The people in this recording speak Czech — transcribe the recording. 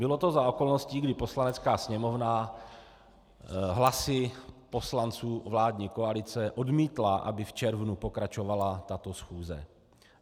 Bylo to za okolností, kdy Poslanecká sněmovna hlasy poslanců vládní koalice odmítla, aby v červnu pokračovala tato schůze.